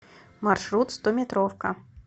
маршрут стометровка